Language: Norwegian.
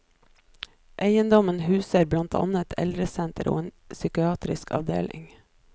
Eiendommen huser blant annet et eldresenter og en psykiatrisk avdeling.